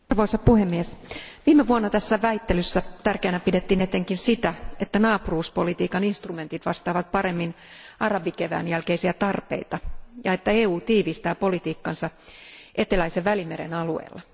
Arvoisa puhemies, viime vuonna tässä väittelyssä tärkeänä pidettiin etenkin sitä, että naapuruuspolitiikan instrumentit vastaavat paremmin arabikevään jälkeisiä tarpeita ja että EU tiivistää politiikkaansa eteläisen Välimeren alueella.